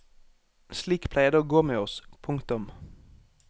Slik pleier det å gå med oss. punktum